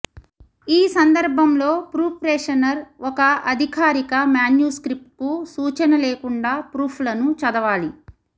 ఈ సందర్భంలో ప్రూఫ్రేషనర్ ఒక అధికారిక మాన్యుస్క్రిప్ట్కు సూచన లేకుండా ప్రూఫ్లను చదవాలి